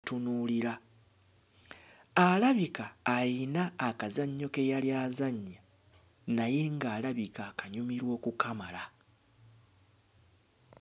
ttunuulira. Alabika ayina akazannyo ke yali azannya naye ng'alabika akanyumirwa okukamala.